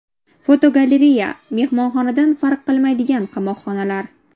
Fotogalereya: Mehmonxonadan farq qilmaydigan qamoqxonalar.